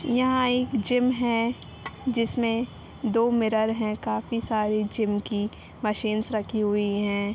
यह एक जिम है जिसमे दो मिरर है काफी सारी जिम की मशीन्स रखी हुई है ।